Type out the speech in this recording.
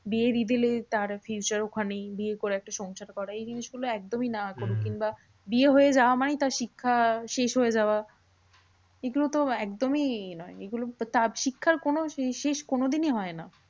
বিয়ে দিয়ে দিলে তার future ওখানেই। বিয়ে করে একটা সংসার করা। এই জিনিসগুলো একদমই না করুক। কিংবা বিয়ে হয়ে যাওয়া মানেই তার শিক্ষা শেষ হয়ে যাওয়া। এইগুলো তো একদমই এ নয় এগুলো তার শিক্ষার কোনো শেষ কোনোদিনই হয় না।